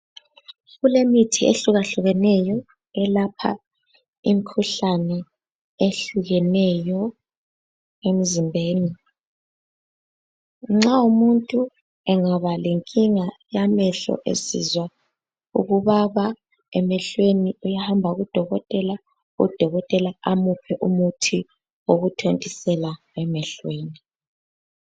Kulemithi ehlukahlukeneyo elapha imikhuhlane ehlukeneyo emzimbeni. Nxa umuntu engaba lenkinga yamehlo esizwa ukubaba emehlweni uyahamba kudokotela, udokotela amuphe umuthi wokuthontisela emehlweni.